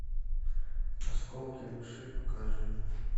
осколки души покажи